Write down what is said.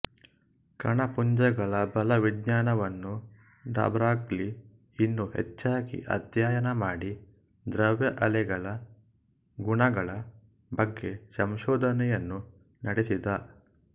ಕಣಪುಂಜಗಳ ಬಲವಿಜ್ಞಾನವನ್ನು de Broglie ಇನ್ನೂ ಹೆಚ್ಚಾಗಿ ಅಧ್ಯಯನ ಮಾಡಿ ದ್ರವ್ಯಅಲೆಗಳ ಗುಣಗಳ ಬಗ್ಗೆ ಸಂಶೋಧನೆಯನ್ನು ನಡೆಸಿದ